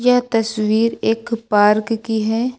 यह तस्वीर एक पार्क की है।